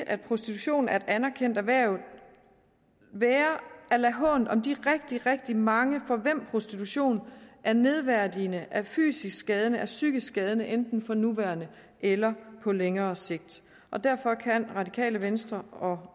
at prostitution er et anerkendt erhverv være at lade hånt om de rigtig rigtig mange for hvem prostitution er nedværdigende fysisk skadende og psykisk skadende enten for nuværende eller på længere sigt derfor kan radikale venstre og